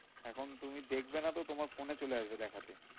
এখন তুমি দেখবে না তো, তোমার phone এ চলে আসবে দেখাতে।